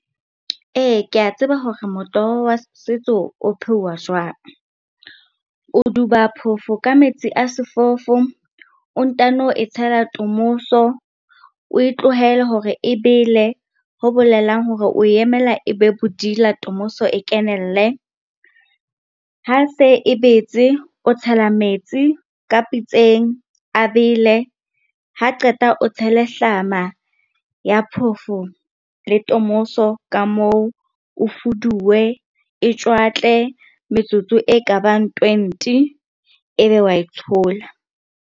Ee, kea tseba hore motoho wa setso o pheuwa jwang. O duba phofo ka metsi a sefofo, o ntano e tshela tomoso, oe tlohele hore e bele, ho bolelang hore o emela e be bodila tomoso e kenelle. Ha se e betse, o tshela metsi ka pitseng a bele, ha qeta o tshele hlama ya phofo le tomoso ka moo. Ofoduwe e tjwatle metsotso e ka bang twenty, ebe wa e tshola.